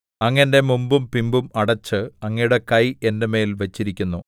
അങ്ങ് എന്റെ മുമ്പും പിമ്പും അടച്ച് അങ്ങയുടെ കൈ എന്റെ മേൽ വച്ചിരിക്കുന്നു